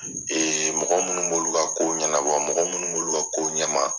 mɔgɔ minnu b'olu ka ko ɲɛnabɔ mɔgɔ minnu b'olu ka ko ɲɛma.